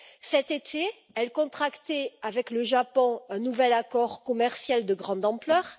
Cet été, elle contractait avec le Japon un nouvel accord commercial de grande ampleur.